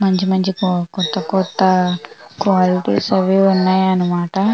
మంచి మంచి కో కొత్త కొత్త క్వాలిటీ అవి ఇవి ఉన్నాయ్ అన్నమాట.